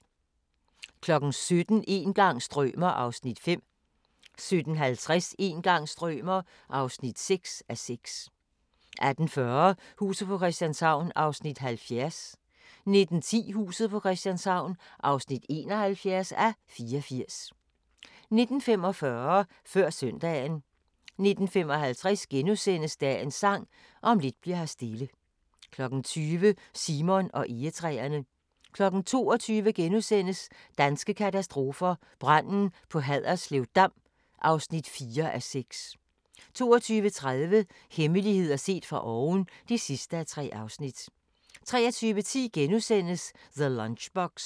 17:00: Een gang strømer ... (5:6) 17:50: Een gang strømer ... (6:6) 18:40: Huset på Christianshavn (70:84) 19:10: Huset på Christianshavn (71:84) 19:45: Før søndagen 19:55: Dagens Sang: Om lidt bli'r her stille * 20:00: Simon og egetræerne 22:00: Danske katastrofer – Branden på Haderslev Dam (4:6)* 22:30: Hemmeligheder set fra oven (3:3) 23:10: The Lunchbox *